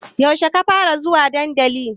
Yaushe ka fara zuwa dandali?